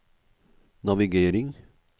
navigering